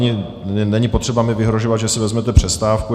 Není potřeba mi vyhrožovat, že si vezmete přestávku.